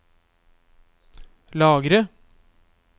lagre